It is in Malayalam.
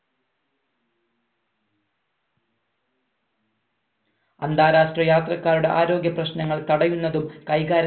അന്താരാഷ്ട്ര യാത്രക്കാരുടെ ആരോഗ്യ പ്രശ്നങ്ങൾ തടയുന്നതും കൈകാര്യം